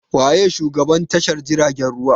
Wa ye shugaban tashar jiragen ruwa?